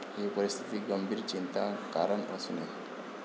ही परिस्थिती गंभीर चिंता कारण असू नये.